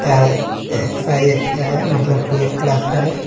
का है मतलब ट्वेल्व क्लास का है।